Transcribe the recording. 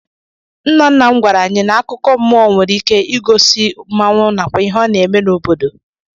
Nna nna m gwara anyị n'akụkọ mmụọ nwere ike i gosi mmanwụ nakwa ihe ọ na-eme n'obodo.